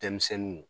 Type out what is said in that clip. Denmisɛnninw